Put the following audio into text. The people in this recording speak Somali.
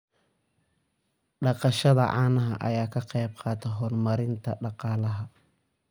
Dhaqashada caanaha ayaa ka qayb qaadata horumarinta dhaqaalaha.